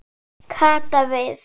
Kata við.